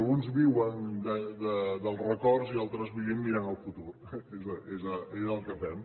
alguns viuen dels records i altres vivim mirant al futur és el que fem